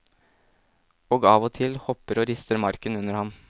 Og av og til hopper og rister marken under ham.